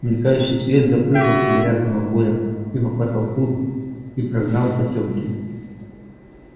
мелькающий свет запрыгал по грязным обоям и по потолку и прогнал потёмки